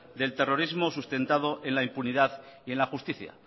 del terrorismo sustentado en la impunidad y en la justicia